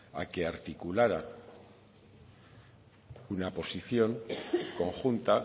a que articulara una posición conjunta